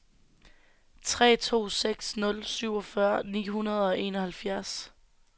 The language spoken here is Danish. tre to seks nul syvogfyrre ni hundrede og enoghalvfjerds